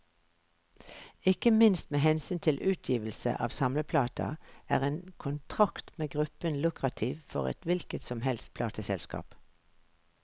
Ikke minst med hensyn til utgivelse av samleplater, er en kontrakt med gruppen lukrativt for et hvilket som helst plateselskap.